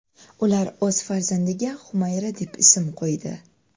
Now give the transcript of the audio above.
Ular o‘z farzandiga Xumayra deb ism qo‘ydi.